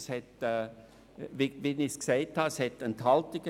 Wie gesagt, gab es Enthaltungen.